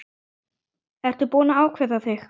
Ertu búinn að ákveða þig?